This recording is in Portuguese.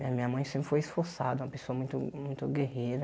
Eh minha mãe sempre foi esforçada, uma pessoa muito muito guerreira.